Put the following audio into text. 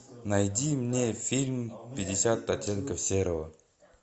найди мне фильм пятьдесят оттенков серого